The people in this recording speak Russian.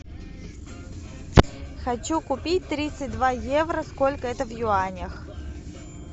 хочу купить тридцать два евро сколько это в юанях